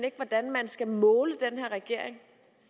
ikke hvordan man skal måle den her regering